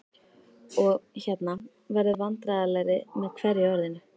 og- hérna- verður vandræðalegri með hverju orðinu.